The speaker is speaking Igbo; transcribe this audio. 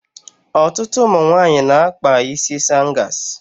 Ọtụtụ ụmụ nwaanyị na-akpa isi sangas.